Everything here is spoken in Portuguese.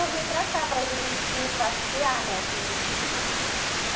Eu vim para cá, para Juruti, passear, né, aqui em Juruti.